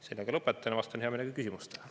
Sellega lõpetan ja vastan hea meelega küsimustele.